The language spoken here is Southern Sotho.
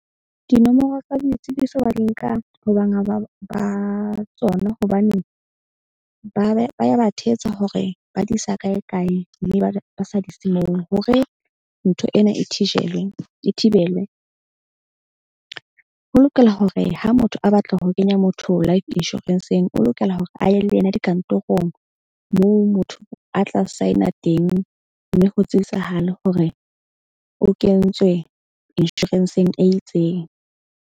Dinomoro tsa boitsibiso ba di nka ho banga ba tsona. Hobaneng ba ya ba thetsa hore ba di isa kae kae mme ba sa di ise moo. Hore ntho ena e thijelwe e thibelwe. Ho lokela hore ha motho a batla ho kenya motho life insurance-ng o lokela hore a ye le yena dikantorong. Moo motho a tla sign-a teng mme ho tsebisahale hore o kentswe insurance-ng e itseng.